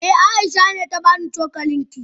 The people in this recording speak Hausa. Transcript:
Eh, Aisha ne ta bani cokalin ki.